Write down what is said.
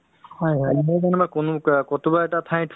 তোমাৰ যিটো মানুহৰ relationship